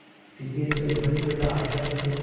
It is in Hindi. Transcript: सिद्धेश्वरी भय तथा आतंक से